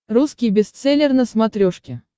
русский бестселлер на смотрешке